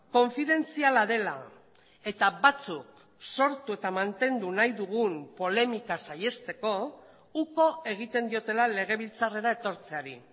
konfidentziala dela eta batzuk sortu eta mantendu nahi dugun polemika saihesteko uko egiten diotela legebiltzarrera etortzeari